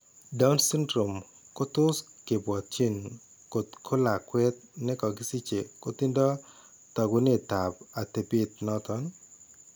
Down syndrome ko tos ke bwatyin kot ko lakweet ne kakisiche kotindo taakunetap atepet noton.